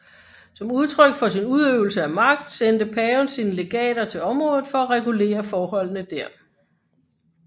Som udtryk for sin udøvelse af magt sendte paven sine legater til området for at regulere forholdene der